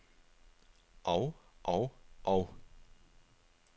og og og